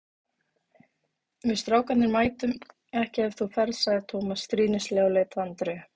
Við strákarnir mætum ekki ef þú ferð sagði Tómas stríðnislega og leit á Andreu.